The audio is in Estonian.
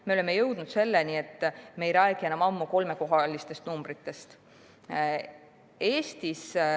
Me oleme jõudnud selleni, et me ei räägi enam ammu kolmekohalistest numbritest.